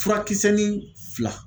Furakisɛni fila